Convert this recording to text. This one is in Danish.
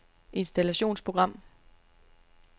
installationsprogram